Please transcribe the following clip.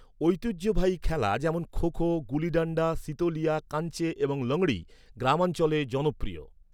ঐতিহ্যবাহী খেলা যেমন, খো খো, গুলিডান্ডা, সিতোলিয়া, কাঞ্চে এবং লংড়ী, গ্রামাঞ্চলে জনপ্রিয়।